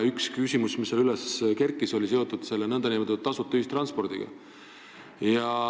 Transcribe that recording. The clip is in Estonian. Üks küsimus, mis seal üles kerkis, oli seotud nn tasuta ühistranspordiga.